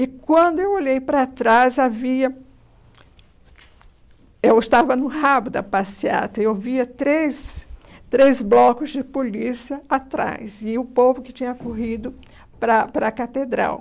E, quando eu olhei para trás, havia... Eu estava no rabo da passeata e eu via três três blocos de polícia atrás e o povo que tinha corrido para a para a catedral.